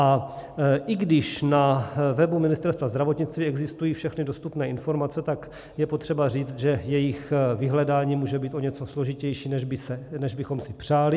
A když i na webu Ministerstva zdravotnictví existují všechny dostupné informace, tak je potřeba říct, že jejich vyhledání může být o něco složitější, než bychom si přáli.